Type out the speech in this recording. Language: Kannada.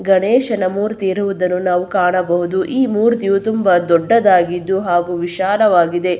ಗಣೇಶನ ಮೂರ್ತಿ ಇರುವುದನ್ನು ನಾವು ಕಾಣಬಹುದು ಈ ಮೂರ್ತಿಯು ತುಂಬಾ ದೊಡ್ಡದಾಗಿದ್ದು ಹಾಗು ವಿಶಾಲವಾಗಿದೆ.